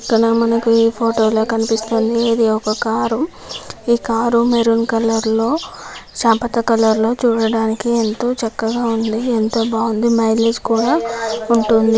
పక్కన మనకి ఫోటో లో కనిపిస్తుంది ఇది ఒక కారు . ఈ కారు మెరూన్ కలర్ లో సపత కలర్ లో చూడటానికి ఎంతో చక్కగా ఉంది. ఎంతో బావుంది. మైలేజ్ కూడా ఉంటుంది.